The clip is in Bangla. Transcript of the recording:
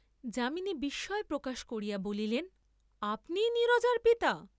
যামিনী বিস্ময় প্রকাশ করিয়া বলিলেন আপনিই নীরজার পিতা?